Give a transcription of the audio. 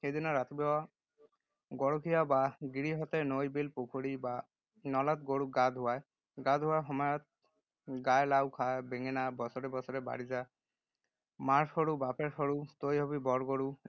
সেইদিনা ৰাতিপুৱা গৰখীয়া বা গিৰিহঁতে নৈ, বিল, পুখুৰী বা নলাত গৰুক গা ধুৱায়। গা ধুৱাবৰ সময়ত, গায় – লাও খা বেঙেনা বছৰে বছৰে বাঢ়ি যা, মাৰ সৰু বাপেৰ সৰু তই হ’বি বৰ গৰু।